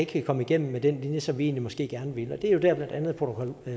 kan komme igennem med den linje som vi egentlig måske gerne vil have det er jo der hvor blandt andet protokol